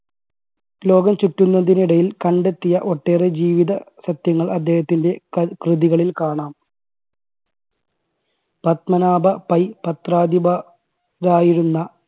ലോകം ചുറ്റുന്നതിനിടയിൽ കണ്ടെത്തിയ ഒട്ടേറെ ജീവിത സത്യങ്ങൾ അദ്ദേഹത്തിൻറെ കൃ~കൃതികളിൽ കാണാം. പത്മനാഭ പൈ പത്രാധിപ~രായിരുന്ന